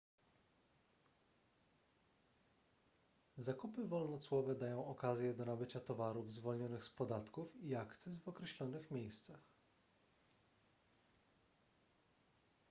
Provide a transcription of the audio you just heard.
zakupy wolnocłowe dają okazję do nabycia towarów zwolnionych z podatków i akcyz w określonych miejscach